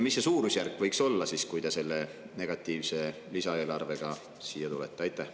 Mis see suurusjärk võiks olla, kui te selle negatiivse lisaeelarvega siia tulete?